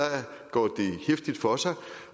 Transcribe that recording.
går heftigt for sig